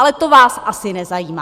Ale to vás asi nezajímá!